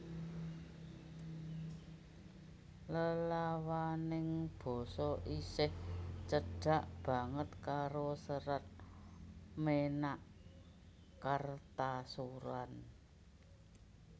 Lelawaning basa isih cedhak banget karo Serat Ménak Kartasuran